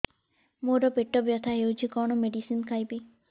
ମୋର ପେଟ ବ୍ୟଥା ହଉଚି କଣ ମେଡିସିନ ଖାଇବି